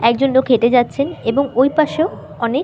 একজন লোক হেটে যাচ্ছেন এবং ওই পাশেও অনেক--